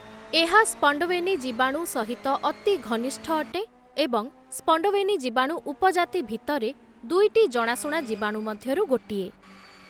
ଏହା ସ୍ପଣ୍ଡୱେନି ଜୀବାଣୁ ସହିତ ଅତି ଘନିଷ୍ଠ ଅଟେ ଏବଂ ସ୍ପଣ୍ଡୱେନି ଜୀବାଣୁ ଉପଜାତି ଭିତରେ, ଦୁଇଟି ଜଣାଶୁଣା ଜୀବାଣୁ ମଧ୍ୟରୁ ଗୋଟିଏ ।